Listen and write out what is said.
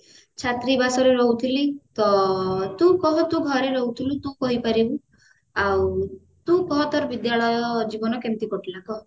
ଛାତ୍ରୀବାସରେ ରେ ରହୁଥିଲି ତ ତୁ କହ ତୁ ଘରେ ରହୁଥିଲୁ ତୁ କହିପାରିବୁ ଆଉ ତୁ କହ ତୋର ବିଦ୍ୟାଳୟ ଜୀବନ କେମିତି କଟିଲା କହ